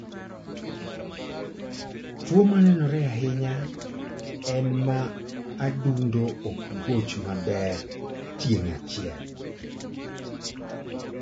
Tuo manenore ahinya en ma adundo ok goch maber tieng' achiel